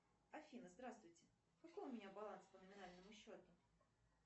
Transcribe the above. афина здравствуйте какой у меня баланс по номинальному счету